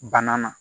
Bana na